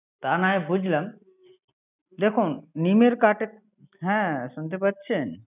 তা না হয়ে বুঝলাম, দেখুন, নিমের কাঠে। হ্যা, শুনতে পারছেন।